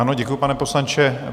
Ano, děkuji, pane poslanče.